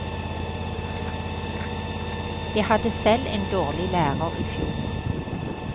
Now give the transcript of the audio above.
Jeg hadde selv en dårlig lærer i fjor.